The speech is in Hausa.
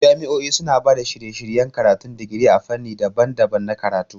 Jami'o'i suna ba da shirye-shiryen karatun digiri a fannoni daban-daban na karatu.